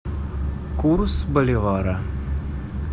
курс боливара